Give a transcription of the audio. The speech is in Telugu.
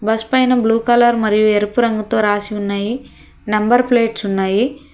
బస్ పైన బ్లూ కలర్ మరియు ఎరుపు రంగుతో రాసి ఉన్నాయి నంబర్ ప్లేట్స్ ఉన్నాయి.